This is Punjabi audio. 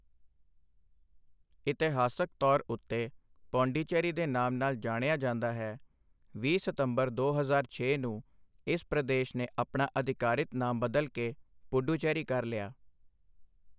ਇਤਿਹਾਸਕ ਤੌਰ ਉੱਤੇ ਪਾਂਡੀਚੇਰੀ ਦੇ ਨਾਮ ਨਾਲ ਜਾਣਿਆ ਜਾਂਦਾ ਹੈ, ਵੀਹ ਸਤੰਬਰ ਦੋ ਹਜ਼ਾਰ ਛੇ ਨੂੰ ਇਸ ਪ੍ਰਦੇਸ਼ ਨੇ ਆਪਣਾ ਅਧਿਕਾਰਤ ਨਾਮ ਬਦਲ ਕੇ ਪੁਡੁਚੇਰੀ ਕਰ ਲਿਆ।